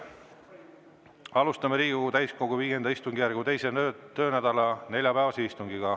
Alustame Riigikogu täiskogu V istungjärgu 2. töönädala neljapäevast istungit.